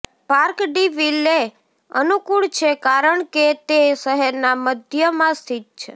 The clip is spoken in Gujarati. પાર્ક ડી વિલે અનુકૂળ છે કારણ કે તે શહેરના મધ્યમાં સ્થિત છે